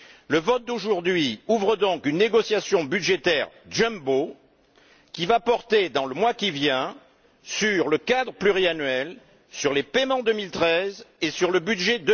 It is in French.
Le vote d'aujourd'hui ouvre donc une négociation budgétaire jumbo, qui va porter dans le mois qui vient sur le cadre pluriannuel, sur les paiements 2013 et sur le budget